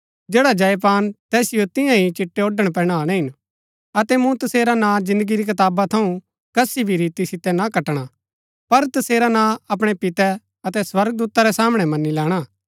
जैडा जय पान तैसिओ तियां ही चिट्टै ओड़ण पहनाणै हिन अतै मूँ तसेरा ना जिन्दगी री कताबा थऊँ कसी भी रीति सितै ना कटणा पर तसेरा नां अपणै पितै अतै स्वर्गदूता रै सामणै मनी लैणा